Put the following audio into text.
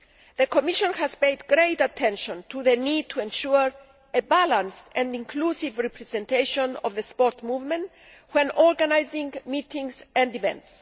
The Commission has paid great attention to the need to ensure a balanced and inclusive representation of the sports movement when organising meetings and events.